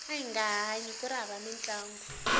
ahinga hanyi kuri hava mintlangu